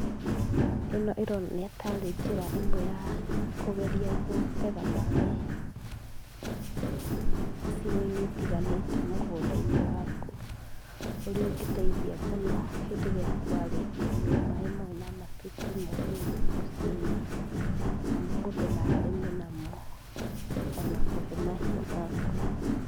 Ĩno ĩronania ta arĩ njĩra ĩmwe ya kũgeria gũtega maĩ, icigoinĩ itiganĩte mũgũnda-inĩ waku. Ũria ũngĩteithia mũno hĩndĩ ĩrĩa kwarĩte riũa, maĩ mau nomatuĩke ma ũguni mũciĩ-inĩ, amu mũndũ no arĩme namo, ona kũhe mahiũ maku.